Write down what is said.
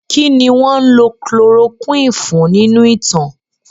Kí ni wọ́n ń lò chloroquine fún nínú ìtàn?